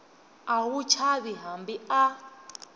a wu chavi hambi a